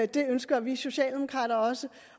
det ønsker vi socialdemokrater også